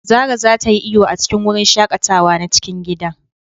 Zara za ta yi iyo a cikin wurin shaƙatawa na cikin gida.